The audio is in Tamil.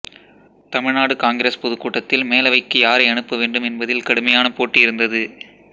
தமிழ்நாடு காங்கிரஸ் பொதுக்கூட்டத்தில் மேலவைக்கு யாரை அனுப்ப வேண்டும் என்பதில் கடுமையான போட்டி இருந்தது